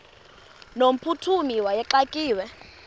no mphuthumi wayexakiwe